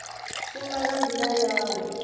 shuma nga ndila ya u